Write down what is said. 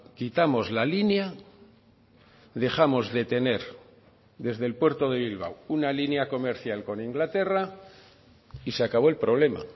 quitamos la línea dejamos de tener desde el puerto de bilbao una línea comercial con inglaterra y se acabó el problema